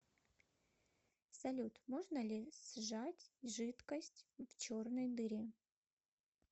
салют можно ли сжать жидкость в черной дыре